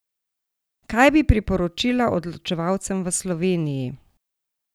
Kaj bi priporočila odločevalcem v Sloveniji?